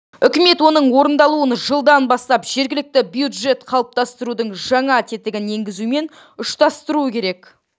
үкімет оның орындалуын жылдан бастап жергілікті бюджет қалыптастырудың жаңа тетігін енгізумен ұштастыруы керек